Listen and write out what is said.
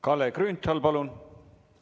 Kalle Grünthal, palun!